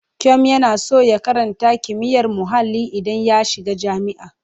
Kyom yana son ya karata kimiyyar muhalli idan ya shiga jami'a.